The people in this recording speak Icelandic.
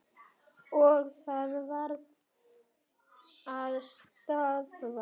Og það verður að stöðva.